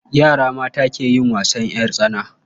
Yara mata ke yin wasan ƴar tsana.